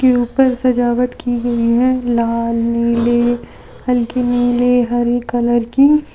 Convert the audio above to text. ऊपर सजावट की गई है लाल नीली हल्के नीले हरी कलर की।